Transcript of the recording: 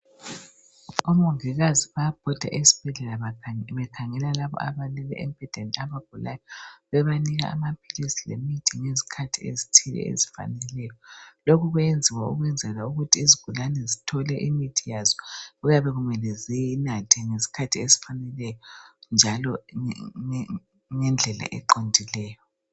Omongikazi bayabhoda esibhedlela bekhangela laba abalele embedeni abagulayo bebanika amaphilizi lemithi ngezikhathi ezithile ezifaneleyo lokho kuyenziwa ukuthi izigulane zinathe imithi yazo okuyabe kumele ziyinathe ngesikhathi esifaneleyo njalo ngendlela eqondileyo